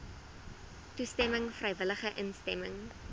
toestemming vrywillige instemming